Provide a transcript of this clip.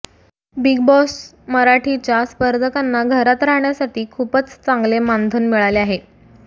big Boss मराठीच्या स्पर्धकांना घरात राहाण्यासाठी खूपच चांगले मानधन मिळाले आहे